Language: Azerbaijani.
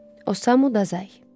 Osamu Dazay.